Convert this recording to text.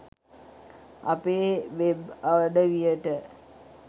අපේ වෙබ් අඩවියට